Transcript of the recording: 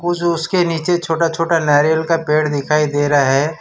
कुछ उसके नीचे छोटा-छोटा नारियल का पेड़ दिखाई दे रहा है।